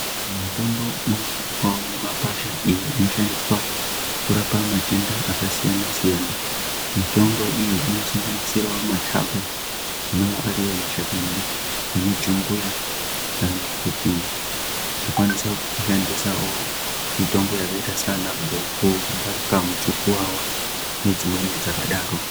Mitombo ino onekwawo mi makwasha iyo ino shandiswa kurapa matenda aka siyana siyana mitombo iyi ino sanganisirawo mataba anowa ari iwo mashakani emu jumbuya kana kuti tokwanisa ku shandisawo mitombo yakaita sana goko ngaka mu chukuwawa ne dzimweni dzaka daro.